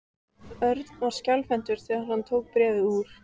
Örn var skjálfhentur þegar hann tók bréfið úr.